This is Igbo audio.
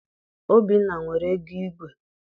Obinna nwere ego igwe.